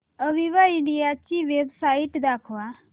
Aviva India ची website दाखवा